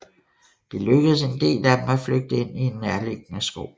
Det lykkedes en del af dem at flygte ind i en nærliggende skov